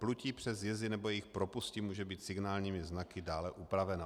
Plutí přes jezy nebo jejich propusti může být signálními znaky dále upraveno.